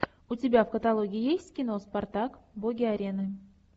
у тебя в каталоге есть кино спартак боги арены